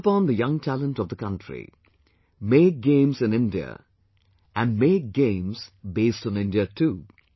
I call upon the young talent of the country make games in India and make games based on India too